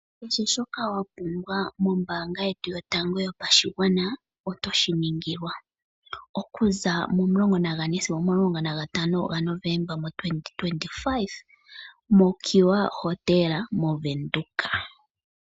Kehe shoka wapumbwa mombaanga yetu yotango yopashigwana oto shiningilwa okuza 14 sigo 15 Novomba 2025 moMercue Hotel moWindhoek.